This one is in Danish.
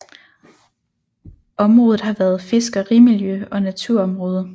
Området har været fiskerimiljø og naturområde